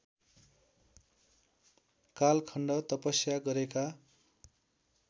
कालखण्ड तपस्या गरेका